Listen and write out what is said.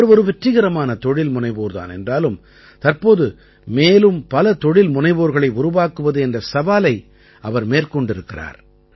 அவர் ஒரு வெற்றிகரமான தொழில் முனைவோர் தான் என்றாலும் தற்போது மேலும் பல தொழில் முனைவோர்களை உருவாக்குவது என்ற சவாலை அவர் மேற்கொண்டிருக்கிறார்